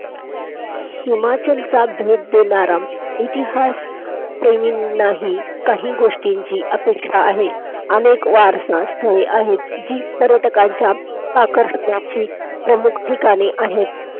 हिमाचलच्या द्वित देणारा इतिहासप्रेमींनाही काही गोष्टींची अपेक्षा आहे. अनेक वारसा स्थळे आहेत. जी पर्यटकांच्या आकर्षणाची प्रमुख ठिकाणे आहेत.